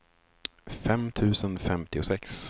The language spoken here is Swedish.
fem tusen femtiosex